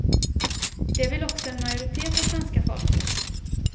Det vill också en majoritet av svenska folket.